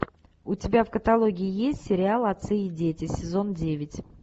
у тебя в каталоге есть сериал отцы и дети сезон девять